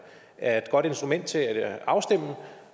er et godt instrument til at afstemme